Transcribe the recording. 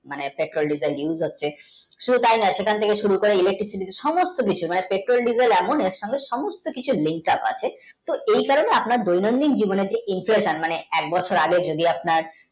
মানে Petrol diesel মানে use হচ্ছে শুধু তাই নয় সেইখান থেকে শুরু করে ilaktik সমস্ত কিছু মানে Petrol diesel এমনি যাতে সমস্ত কিছু লিন আছে এই কারণে আপনার দৈনতিক জীবনে input মানে এক বছর যদি আওয়ানার